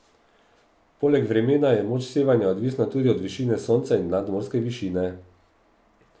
Poleg vremena je moč sevanja odvisna tudi od višine sonca in nadmorske višine.